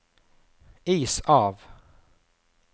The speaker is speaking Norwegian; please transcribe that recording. is av